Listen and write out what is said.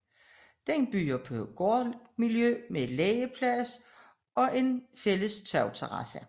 Den byder på gårdmiljø med legeplads samt en fælles tagterrasse